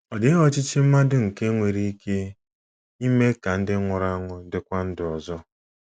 Ọ dịghị ọchịchị mmadụ nke nwere ike ime ka ndị nwụrụ anwụ dịkwa ndụ ọzọ.